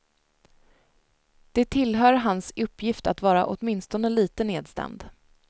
Det tillhör hans uppgift att vara åtminstone lite nedstämd.